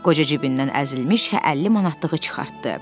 Qoca cibindən əzilmiş 50 manatlığı çıxartdı.